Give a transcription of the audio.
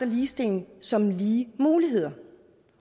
ligestilling som lige muligheder